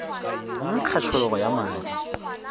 go nkga tšhologo ya madi